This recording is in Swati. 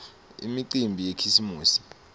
imicimbi yakhisimusi